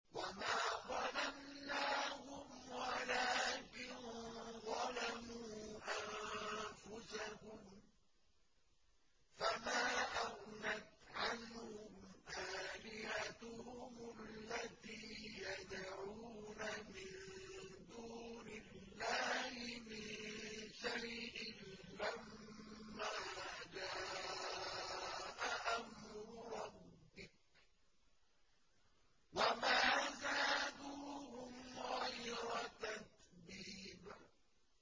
وَمَا ظَلَمْنَاهُمْ وَلَٰكِن ظَلَمُوا أَنفُسَهُمْ ۖ فَمَا أَغْنَتْ عَنْهُمْ آلِهَتُهُمُ الَّتِي يَدْعُونَ مِن دُونِ اللَّهِ مِن شَيْءٍ لَّمَّا جَاءَ أَمْرُ رَبِّكَ ۖ وَمَا زَادُوهُمْ غَيْرَ تَتْبِيبٍ